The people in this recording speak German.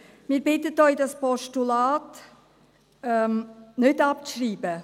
Wir bitten Sie, dieses Postulat nicht abzuschreiben.